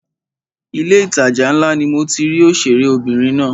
Ilé ìtajà ńlá ni mo ti rí òṣèré obìnrin náà.